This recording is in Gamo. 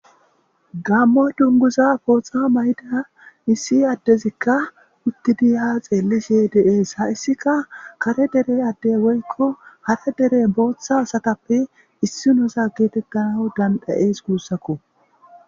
gammo dunguza pooxa mayda issi addezikka uttidiyha xeellishe deees ha issika kare dere adde woykko hara dere booththa asatappe issi nosa geetekkana dandhayees guussakko